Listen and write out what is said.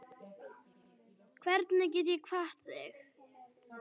Hvernig get ég kvatt þig?